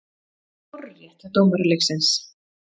Hárrétt hjá dómara leiksins.